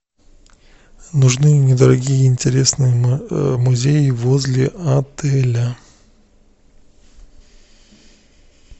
нужны недорогие интересные музеи возле отеля